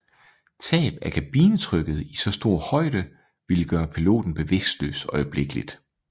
Tab af kabinetrykket i så stor højde ville gøre piloten bevidstløs øjeblikkeligt